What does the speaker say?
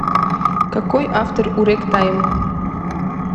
какой автор у регтайм